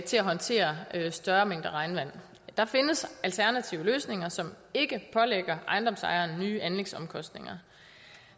håndtere større mængder regnvand der findes alternative løsninger som ikke pålægger ejendomsejeren nye anlægsomkostninger